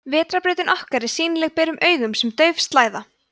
vetrarbrautin okkar er sýnileg berum augum sem dauf slæða